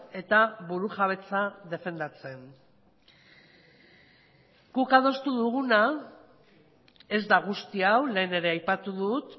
eta burujabetza defendatzen guk adostu duguna ez da guzti hau lehen ere aipatu dut